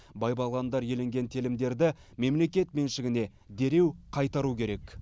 бай бағландар иеленген телімдерді мемлекет меншігіне дереу қайтару керек